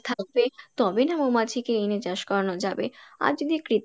থাকবে তবে না মৌমাছিকে এনে চাষ করানো যাবে, আর যদি